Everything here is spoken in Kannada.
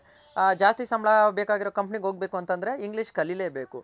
ಹ ಜಾಸ್ತಿ ಸಂಬಳ ಬೇಕಾಗಿರೋ company ಗೆ ಹೋಗ್ ಬೇಕು ಅಂತ ಅಂದ್ರೆ English ಕಲಿಲೆ ಬೇಕು